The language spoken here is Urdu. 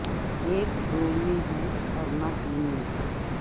ایک دو میں ہے اور نہ تین میں ہے